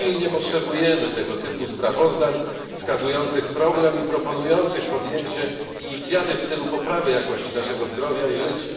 Pilnie potrzebujemy tego typu sprawozdań wskazujących problem i proponujących podjęcie inicjatyw w celu poprawy jakości naszego zdrowia i życia.